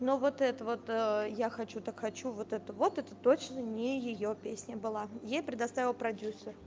ну вот это вот я хочу так хочу вот это вот это точно не её песня была ей предоставил продюсер